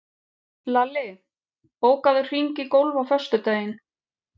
Lalli, bókaðu hring í golf á föstudaginn.